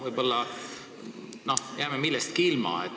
Võib-olla jääme millestki ilma.